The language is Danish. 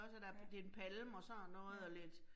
Ja. Ja